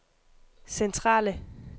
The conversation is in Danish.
centrale